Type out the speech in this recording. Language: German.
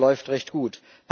Das läuft recht gut.